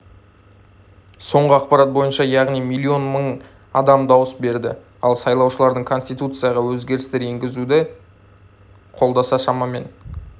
соңғы ақпар бойынша яғни млн мың адам дауыс берді ал сайлаушылардың конституцияға өзгерістер енгізуді қолдаса шамамен